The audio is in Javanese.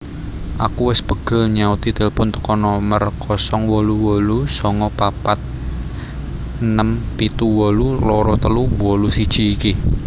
Aku wes pegel nyauti tilpun teko nomor 088946782381 iki